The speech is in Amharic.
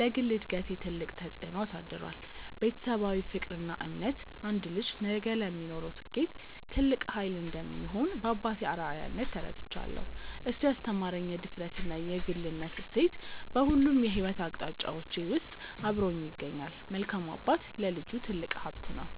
ለግል እድገቴ ትልቅ ተጽዕኖ አሳድሯል። ቤተሰባዊ ፍቅርና እምነት አንድ ልጅ ነገ ለሚኖረው ስኬት ትልቅ ኃይል እንደሚሆን በአባቴ አርአያነት ተረድቻለሁ። እሱ ያስተማረኝ የድፍረትና የግልነት እሴት በሁሉም የሕይወት አቅጣጫዎቼ ውስጥ አብሮኝ ይገኛል። መልካም አባት ለልጁ ትልቅ ሀብት ነው።